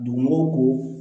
Donmo ko